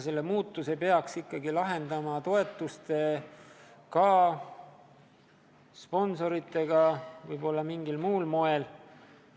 Selle probleemi peaks ikkagi lahendama toetustega, sponsorite abil, võib-olla mingil muul moel.